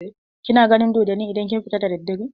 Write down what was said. Kina ganin dodonni idan kin fita da daddare?